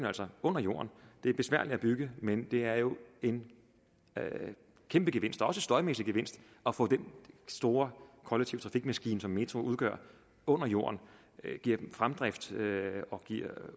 altså under jorden det er besværligt at bygge men det er jo en kæmpe gevinst også en støjmæssig gevinst at få den store kollektive trafikmaskine som metroen udgør under jorden og give den fremdrift